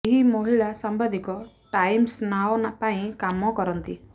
ଏହି ମହିଳା ସାମ୍ବାଦିକା ଟାଇମ୍ସ ନାଓ ପାଇଁ କାମ କରନ୍ତି